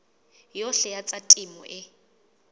yohle ya tsa temo e